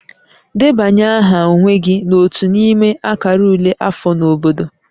Debanye aha onwe gị n'otu n'ime akara ule afọ na obodo